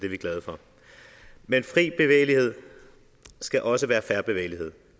vi glade for men fri bevægelighed skal også være fair bevægelighed